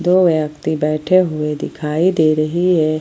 दो व्यक्ति बैठे हुए दिखाई दे रही है।